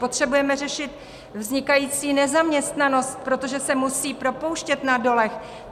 Potřebujeme řešit vznikající nezaměstnanost, protože se musí propouštět na dolech.